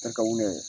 E ka wuli